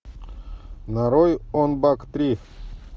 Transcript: нарой онг бак три